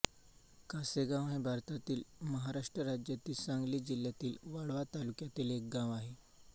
कासेगाव हे भारतातील महाराष्ट्र राज्यातील सांगली जिल्ह्यातील वाळवा तालुक्यातील एक गाव आहे